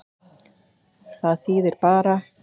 Það þýðir bara.